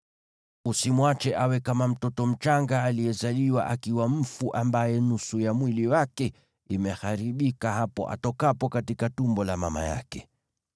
Usimwache awe kama mtoto mchanga aliyezaliwa akiwa mfu, ambaye nusu ya mwili wake imeharibika hapo atokapo katika tumbo la mama yake.”